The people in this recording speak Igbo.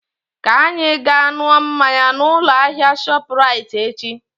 Ka anyị ga ṅụọ mmanya na ụlọ ahịa shọpu raiti echi